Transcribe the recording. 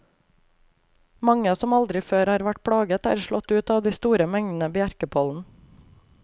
Mange som aldri før har vært plaget, er slått ut av de store mengdene bjerkepollen.